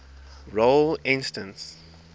role instance